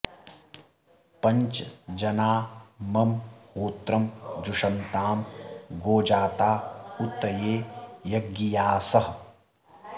पञ्च॒ जना॒ मम॑ हो॒त्रं जु॑षन्तां॒ गोजा॑ता उ॒त ये य॒ज्ञिया॑सः